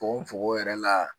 Fukonfukon yɛrɛ la